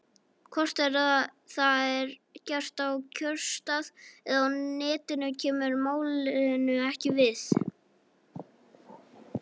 Hvort það er gert á kjörstað eða á Netinu kemur málinu ekki við.